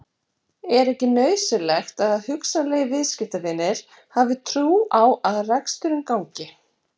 Er ekki nauðsynlegt að hugsanlegir viðskiptavinir hafi trú á að reksturinn gangi?